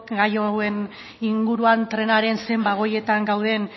gai hauen inguruan trenaren zein bagoietan gauden